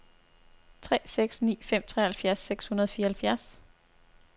tre seks ni fem treoghalvfjerds seks hundrede og fireoghalvfjerds